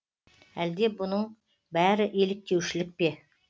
әлде бұның бәрі еліктеушілік пе